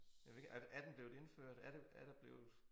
Men jeg ved ikke er er den blevet indført er der er der blevet